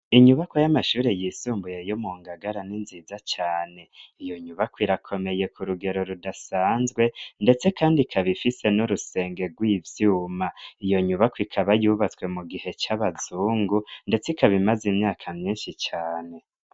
Inyubako y'amashuri yisumbuye yo mu ngagara n'inziza cane iyo nyubako irakomeye ku rugero rudasanzwe, ndetse, kandi kabifise nurusenge rw'ivyuma iyo nyubako ikaba yubatswe mu gihe c'abazungu, ndetse ikabimaze imyaka myinshi cane.